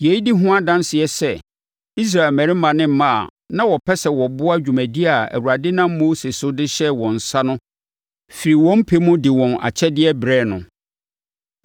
Yei di ho adanseɛ sɛ Israel mmarima ne mmaa a na wɔpɛ sɛ wɔboa dwumadie a Awurade nam Mose so de hyɛɛ wɔn nsa no firi wɔn pɛ mu de wɔn akyɛdeɛ brɛɛ no.